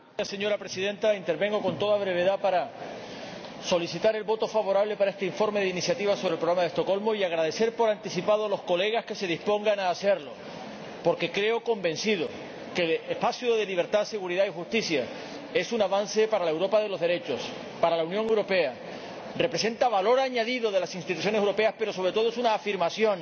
Señora Presidenta, intervengo con toda brevedad para solicitar el voto favorable para este informe de iniciativa sobre el Programa de Estocolmo y expresar por anticipado mi agradecimiento a los colegas que se dispongan a votar a favor, porque creo ―estoy convencido de ello― que el espacio de libertad, seguridad y justicia es un avance para la Europa de los derechos, para la Unión Europea, representa el valor añadido de las instituciones europeas, pero, sobre todo, es una afirmación